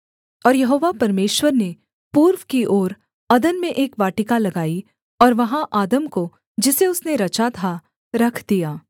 और यहोवा परमेश्वर ने पूर्व की ओर अदन में एक वाटिका लगाई और वहाँ आदम को जिसे उसने रचा था रख दिया